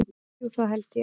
Jú það held ég.